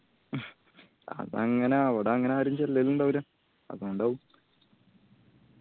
അത് അങ്ങന അവടെ അങ്ങന ആരു ചെല്ലലിണ്ടാവുല്ല. അതോണ്ടാവും